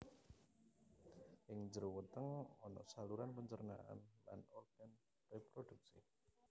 Ing jero weteng ana saluran pencernaan lan organ reproduksi